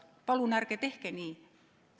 Palun ärge tehke nii!